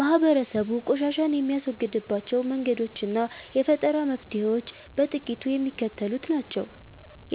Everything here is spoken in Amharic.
ማህበረሰቡ ቆሻሻን የሚያስወግድባቸው መንገዶችና የፈጠራ መፍትሔዎች በጥቂቱ የሚከተሉት ናቸው፦